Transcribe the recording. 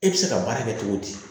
E bɛ se ka baara kɛ cogo di